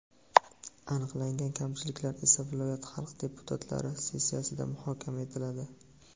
Aniqlangan kamchiliklar esa viloyat xalq deputatlari sessiyasida muhokama etiladi.